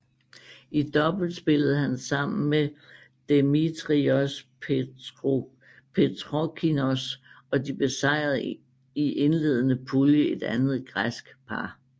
I double spillede han sammen med Demetrios Petrokokkinos og de besejrede i indledende pulje et andet græsk par